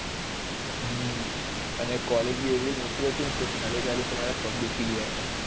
અને કોલેજ ભી એવી મોટી થી ને ચાલી ચાલી ને મારા પગ દુખી ગયા હતા